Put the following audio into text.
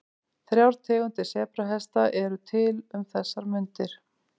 Þrjár tegundir sebrahesta eru til um þessar mundir.